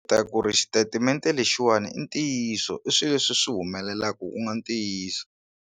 Ta ku ri xitatimende lexiwani i ntiyiso i swilo leswi swi humelelaka ku nga ntiyiso.